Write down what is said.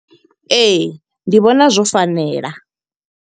Ee, ndi vhona zwo fanela.